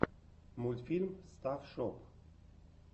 мультфильм стафф шоп